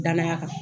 Danaya kan